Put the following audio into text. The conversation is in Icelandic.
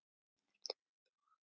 Ertu með plan?